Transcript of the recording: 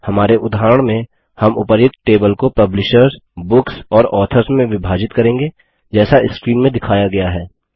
हमारे उदाहरण में हम उपर्युक्त टेबल को पब्लिशर्स बुक्स और ऑथर्स में विभाजित करेंगे जैसा स्क्रीन में दिखाया गया है